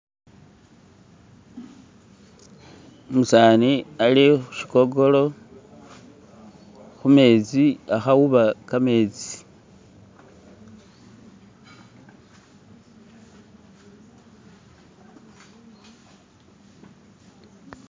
umusaani ali khushigogolo khumetsi akhauba kametsi